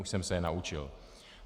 Už jsem se je naučil.